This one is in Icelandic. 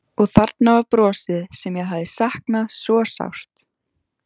Og þarna var brosið sem ég hafði saknað svo sárt.